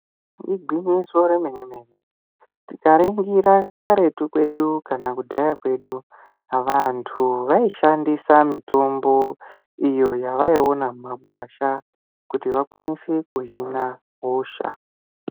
Igwinyiso remenemene tikaringira karetu kedu kana kudhaya kwedu vanhu vaishandisa mitombo iyo vaiona mumagwasha kuti vakwanise kuhina hosha.